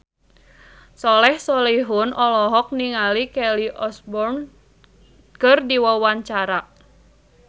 Soleh Solihun olohok ningali Kelly Osbourne keur diwawancara